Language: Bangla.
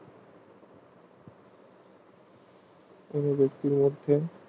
কোনো ব্যাক্তির মধ্যে